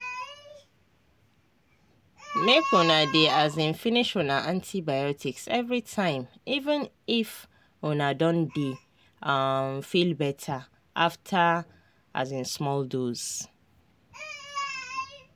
make una dey um finish una antibiotics everytime even if una don dey um feel better after um small dose